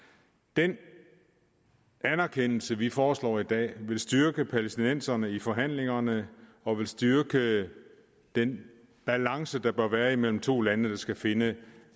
den anerkendelse vi foreslår i dag vil styrke palæstinenserne i forhandlingerne og vil styrke den balance der bør være imellem to lande der skal finde